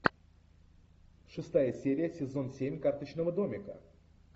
шестая серия сезон семь карточного домика